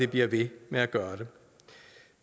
bliver ved med at gøre